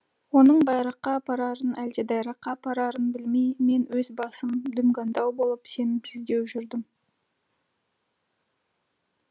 оның байраққа апарарын әлде дайраққа апарарын білмей мен өз басым дүмгандау болып сенімсіздеу жүрдім